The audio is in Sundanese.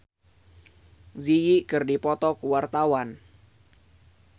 Juwita Bahar jeung Zang Zi Yi keur dipoto ku wartawan